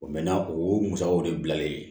O mɛɛnna o musakaw de bilalen